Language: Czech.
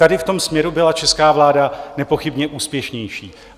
Tady v tom směru byla česká vláda nepochybně úspěšnější.